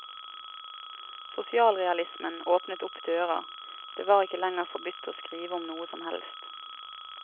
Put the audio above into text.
Sosialrealismen åpnet opp dører, det var ikke lenger forbudt å skrive om noe som helst.